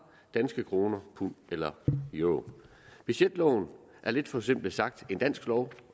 danske kroner pund eller euro budgetloven er lidt forsimplet sagt en dansk lov